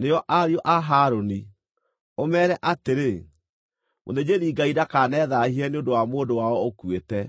nĩo ariũ a Harũni, ũmeere atĩrĩ: ‘Mũthĩnjĩri-Ngai ndakanethaahie nĩ ũndũ wa mũndũ wao ũkuĩte,